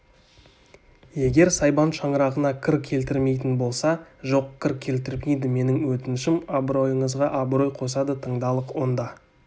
егер сайбан шаңырағына кір келтірмейтін болса жоқ кір келтірмейді менің өтінішім абыройыңызға абырой қосады тыңдалық онда